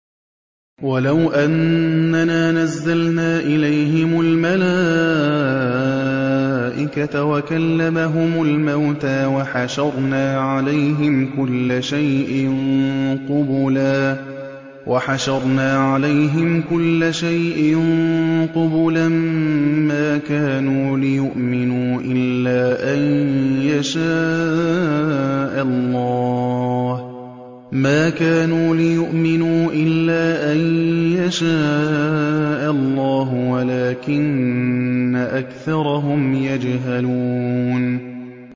۞ وَلَوْ أَنَّنَا نَزَّلْنَا إِلَيْهِمُ الْمَلَائِكَةَ وَكَلَّمَهُمُ الْمَوْتَىٰ وَحَشَرْنَا عَلَيْهِمْ كُلَّ شَيْءٍ قُبُلًا مَّا كَانُوا لِيُؤْمِنُوا إِلَّا أَن يَشَاءَ اللَّهُ وَلَٰكِنَّ أَكْثَرَهُمْ يَجْهَلُونَ